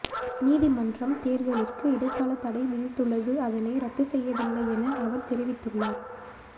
நீதிமன்றம் தேர்தலிற்கு இடைக்கால தடை விதித்துள்ளது அதனை இரத்துச்செய்யவில்லை என அவர் தெரிவித்துள்ளார்